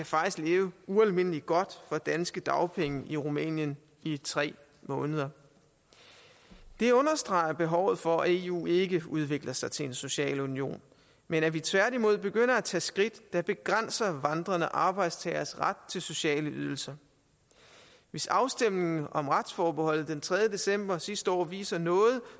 faktisk kan leve ualmindelig godt for danske dagpenge i rumænien i tre måneder det understreger behovet for at eu ikke udvikler sig til en social union men at vi tværtimod begynder at tage skridt der begrænser vandrende arbejdstageres ret til sociale ydelser hvis afstemningen om retsforbeholdet den tredje december sidste år viser noget